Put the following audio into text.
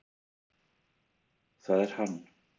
ÞAÐ ER HANN!